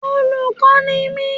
Olùkọ́ ni mi